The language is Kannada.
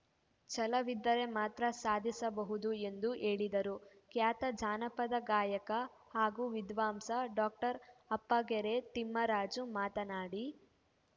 ಛಲವಿದ್ದರೆ ಮಾತ್ರ ಸಾಧಿಸಬಹುದು ಎಂದು ಹೇಳಿದರು ಖ್ಯಾತ ಜಾನಪದ ಗಾಯಕ ಹಾಗೂ ವಿದ್ವಾಂಸ ಡಾಕ್ಟರ್ ಅಪ್ಪಗೆರೆ ತಿಮ್ಮರಾಜು ಮಾತನಾಡಿ